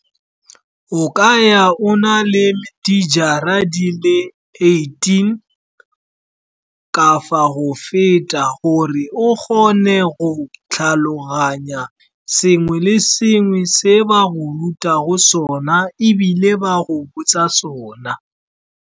O ka ya o na le dijara di le eighteen kafa go feta, gore o kgone go tlhaloganya sengwe le sengwe se ba go rutago sona ebile ba go botsa sona.